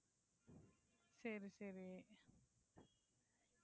சரி, சரி.